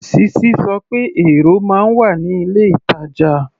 Sisi sọ pé èrò máa ń wà ní ilé-ìtàjà.